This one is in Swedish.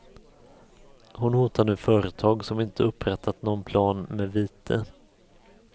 Hon hotar nu företag som inte upprättat någon plan med vite.